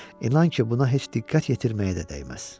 İnan ki, buna heç diqqət yetirməyə də dəyməz.